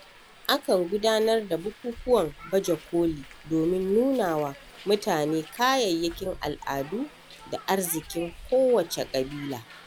A kan gudanar da bukukuwan Baje-koli domin nunawa mutane kayayyakin al'adu da arzikin kowacce ƙabila.